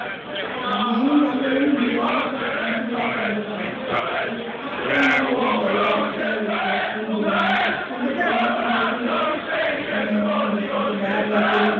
ਅੱਛਾ main ਗੱਲ ਇਹ ਹੁੰਦੀ ਆ ਕੇ ਸਰਪੰਚ ਜਿਹੜਾ ਪਿੰਡ ਦਾ ਹੈ ਵੀ ਕਿਸ ਤਰ੍ਹਾਂ ਦਾ ਹੋਣਾ ਚਾਹੀਦਾ ਹੈ ਪੜਿਆ ਲਿਖਿਆ ਸੂਝਵਾਨ ਕਿਉਂਕਿ ਪਹਿਲਾਂ ਦਾ ਦੇਖੋ ਇੱਕ ਮੈਂ ਤੁਹਾਨੂੰ ਦੱਸਾ ਬਾਹਰ ਜਾਕੇ ਵੀ